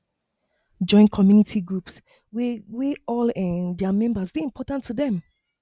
join community groups wey wey all um their members dey important to dem